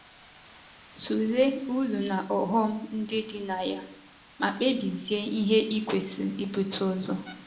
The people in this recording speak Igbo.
Tụlee uru na ọghọm ndị dị na ya, ma kpebizie ihe i kwesịrị ibute ụzọ.